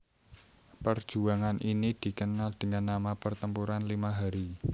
Perjuangan ini dikenal dengan nama Pertempuran Lima Hari